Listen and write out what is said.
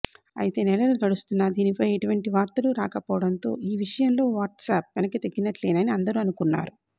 అయితే నెలలు గడుస్తున్నా దీనిపై ఎటువంటి వార్తలు రాకపోవడంతో ఈ విషయంలో వాట్సాప్ వెనక్కి తగ్గినట్లేనని అందరూ అనుకున్నారు